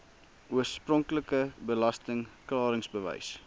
oorspronklike belasting klaringsbewys